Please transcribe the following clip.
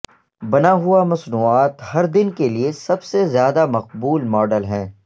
بنا ہوا مصنوعات ہر دن کے لئے سب سے زیادہ مقبول ماڈل ہیں